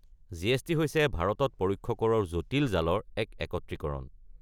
GST. হৈছে ভাৰতত পৰোক্ষ কৰৰ জটিল জালৰ এক একত্ৰীকৰণ।